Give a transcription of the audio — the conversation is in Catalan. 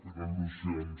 per al·lusions